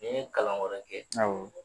Ni n ye kalan wɛrɛ kɛ awɔ.